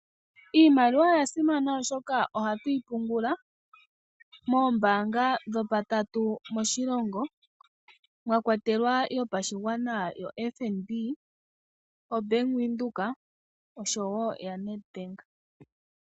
Iimaliwa oya simana oshoka ohatu yi pungula moombanga dhopatatu moshilongo, mwa kwatelwa yopashigwana yoFNB, oBank Windhoek oshowo yaNedbank.